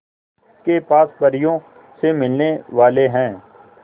के पास परियों से मिलने वाले हैं